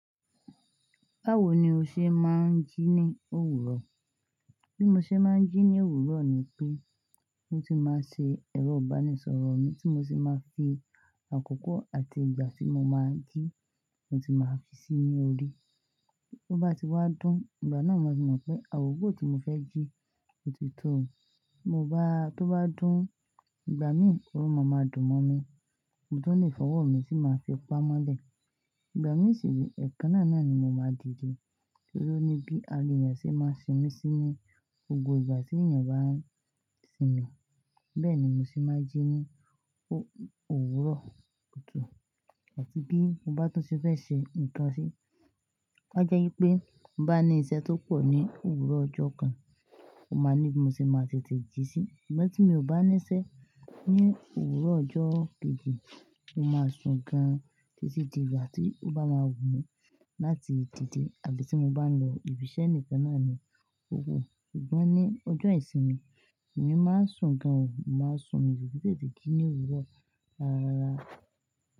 Báwo ni o ṣe máa ń jí ní òwúrọ̀? Bí mo ṣe máa ń jí ní òwúrọ̀ ni pé, mo ti máa ṣe ẹ̀rọ ìbánisọ̀rọ̀ mi tí mo ti máa fi àkókò àti ìgbà tí mo máa jí, mo ti máa fi sí ní orí. Tó bá ti wá dún, ìgbà náà mo máa mọ̀ pé àkoko tí mo fẹ́ jí ti tó. To ba dun, igba min o ma ma dun mo mi, mo tun le fi owo mi ti ma fi pa mole. Ìgbà mí sì ni ẹ̀kan náà náà ni mo máa dìde. Torí ó ní bí ara ènìyàn ṣe máa ń sinmi sí ní gbogbo ìgbà tí ènìyàn bá ń sinmi, bẹ́ẹ̀ ni mo ṣe máa ń jí ní òwúrọ̀ kùtù. Ẹ̀tí bí mo bá tún ṣe fẹ́ ṣe nìkan ṣé, ó jẹ́ wípé bá ní iṣẹ́ tó pọ̀ ní òwúrọ̀ ọjọ́ kan, mo máa ní bí mo ṣe máa tètè jí sí. Ṣùgbọ́n tí mi ò bá níṣẹ́ ní òwúrọ̀ ọjọ́ keji, mo máa sùn gan-an títí di ìgbà tí ó bá máa wù mí láti dìde àbí tí mo bá ń lo ibi iṣẹ́ ẹnìkan náà ni òwúrọ̀. Ṣùgbọ́n ní ọjọ́ ìsinmi, èmi máa ń sùn gan-an, mo máa ń sùn mì ki tete gi ní òwúrọ̀ rárarà.